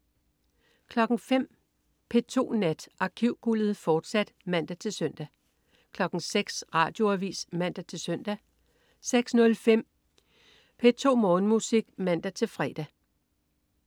05.00 P2 Nat. Arkivguldet, fortsat (man-søn) 06.00 Radioavis (man-søn) 06.05 P2 Morgenmusik (man-fre)